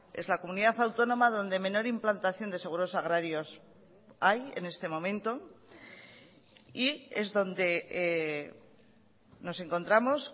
es la comunidad autónoma donde menor implantación de seguros agrarios hay en este momento y es donde nos encontramos